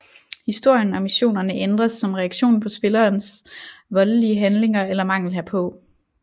Historien og missionerne ændres som reaktion på spillerens voldelige handlinger eller mangel herpå